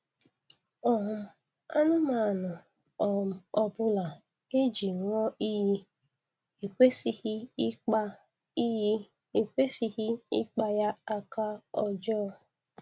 um Anụmanụ um ọbụla e ji ṅụọ iyi ekwesịghị ịkpa iyi ekwesịghị ịkpa ya aka ọjọọ